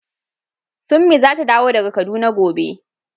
Summi zata dawo daga kaduna gobe.